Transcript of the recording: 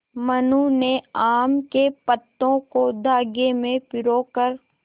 मनु ने आम के पत्तों को धागे में पिरो कर